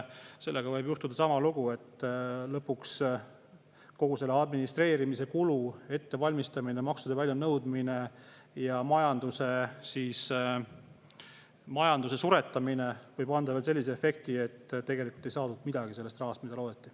Sellega võib juhtuda sama lugu, et lõpuks kogu see administreerimise kulu, ettevalmistamine, maksude väljanõudmine ja majanduse suretamine võivad anda veel sellise efekti, et tegelikult ei saada midagi sellest rahast, mida loodeti.